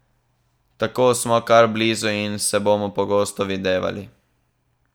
Tako smo kar blizu in se bomo pogosto videvali.